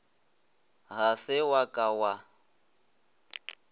ga se wa ka wa